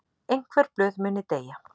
Einhver blöð muni deyja